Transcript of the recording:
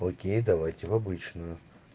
окей давайте в обычную